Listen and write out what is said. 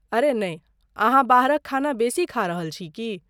अरे नहि! अहाँ बाहरक खाना बेसी खा रहल छी की?